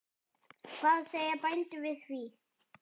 Hvað segja bændur við því?